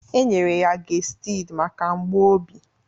E nyere ya gestid maka mgbu obi